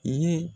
I ye